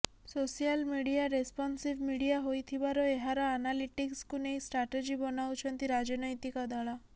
social media responsive media ହୋଇଥିବାର ଏହାର ଆନାଲିଟିକ୍ସକୁ ନେଇ ଷ୍ଟାର୍ଟଜି ବନାଉଛନ୍ତି ରାଜନୈତିକ ଦଳ